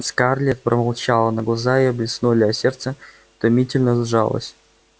скарлетт промолчала но глаза её блеснули а сердце томительно сжалось